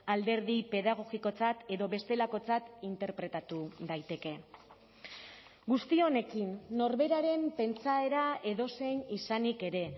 alderdi pedagogikotzat edo bestelakotzat interpretatu daiteke guzti honekin norberaren pentsaera edozein izanik ere